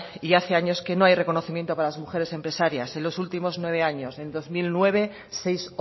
y hace años que no hay reconocimiento para las mujeres empresarias en los últimos nueve años en el dos mil nueve seis